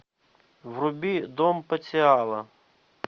вруби дом патиала